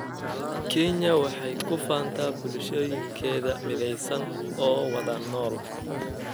Kenya waxay ku faantaa bulshooyinkeeda midaysan oo wada nool.